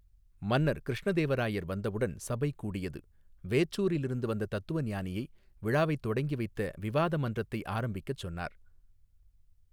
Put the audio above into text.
மன்னர் கிருஷ்ணதேவராயர் வந்தவுடன் சபை கூடியது வேற்றூரிலிருந்து வந்த தத்துவஞானியை விழாவைத் தொடங்கி வைத்த விவாத மன்றத்தை ஆரம்பிக்கச் சொன்னார்.